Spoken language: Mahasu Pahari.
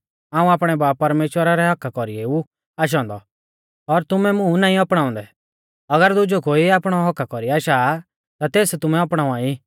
हाऊं आपणै बाब परमेश्‍वरा रै हक्क्का कौरीऐ ऊ आशौ औन्दौ और तुमै मुं नाईं अपणाउंदै अगर दुजौ कोई आपणै हक्क्का कौरी आशा ता तेस तुमै अपणावा ई